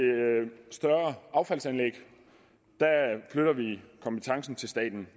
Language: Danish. større affaldsanlæg flytter vi kompetencen til staten